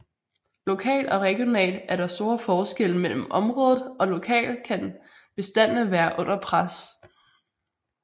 Lokalt og regionalt er der store forskelle mellem området og lokalt kan bestandene være under pres